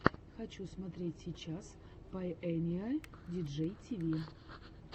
хочу смотреть сейчас пайэниэ диджей тиви